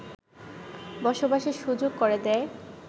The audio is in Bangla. বসবাসের সুযোগ করে দেয়